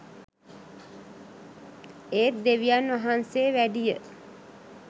ඒත් දෙවියන් වහන්සේ වැඩිය